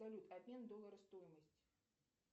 салют обмен доллара стоимость